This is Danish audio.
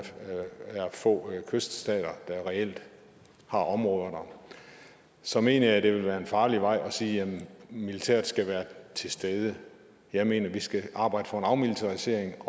få kyststater der reelt har områder der så mener jeg at det ville være farligt at vej at sige at militæret skal være til stede jeg mener at vi skal arbejde for en afmilitarisering